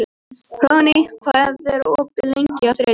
Hróðný, hvað er opið lengi á þriðjudaginn?